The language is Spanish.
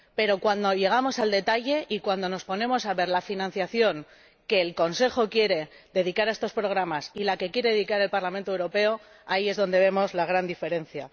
Pero cuando llegamos al detalle y cuando nos ponemos a ver la financiación que el Consejo quiere dedicar a estos programas y la que quiere dedicar el Parlamento Europeo, ahí es donde vemos la gran diferencia.